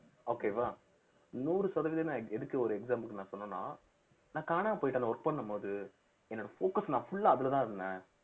okay வா நூறு சதவீதம் நான் எதுக்கு ஒரு example க்கு நான் சொன்னேன்னா நான் காணாம போயிட்டேன் அந்த work பண்ணும் போது என்னோட focus நான் full ஆ அதுலதான் இருந்தேன்